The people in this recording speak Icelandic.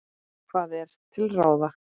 Hvað er til ráða